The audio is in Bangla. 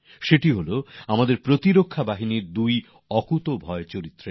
খবরটি আমাদের নিরাপত্তা বাহিনীর দুই সাহসী চরিত্রের